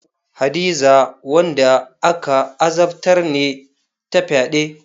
Hadiza wanda aka azabtar ne ta fyade.